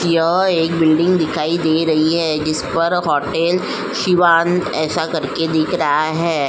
यह एक बिल्डिंग दिखाई दे रही है। जिस पर होटल सिवान ऐसा करके दिख रहा है।